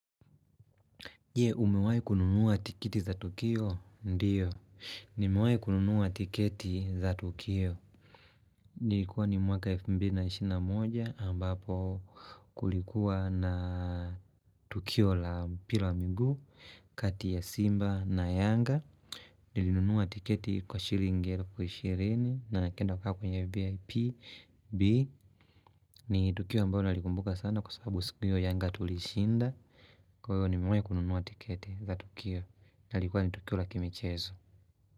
Jee umewae kununuwa tiketi za tukio ndiyo Nimewahi kununuwa tiketi za tukio Nilikuwa ni mwaka 2021 ambapo kulikuwa na Tukio la mpira wa migu kati ya Simba na Yanga Nilinunuwa tiketi kwa shilling 20,000 nikaenda kukaa kwenye VIP ni Tukio ambalo nalikumbuka sana kwa sababu siki hiyo yanga tulishinda kwa hivo nimewahi kununua tiketi za Tukio na lilikuwa ni Tukio la kimichezo.